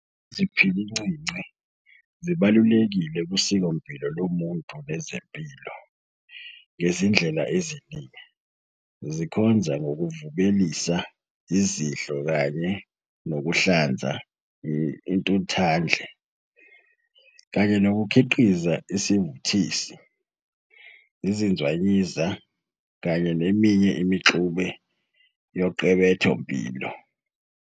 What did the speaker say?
Iziphilincinci zibalulekile kusikompilo lomuntu nezempilo ngezindlela eziningi, zikhonza ngokuvubelisa izidlo kanye nokuhlanza intuthandle, kanye nokukhiqiza isivuthisi, izinzwayiza, kanye neminye imixube yoqebethompilo.